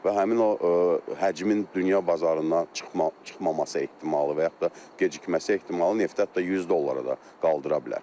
Və həmin o həcmin dünya bazarına çıxmamaq çıxmamasə ehtimalı və yaxud da gecikməsi ehtimalı neftə hətta 100 dollara da qaldıra bilər.